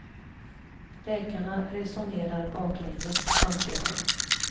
Läkarna resonerar baklänges, anser han.